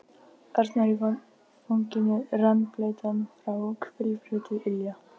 Arnór í fanginu, rennblautan frá hvirfli til ilja.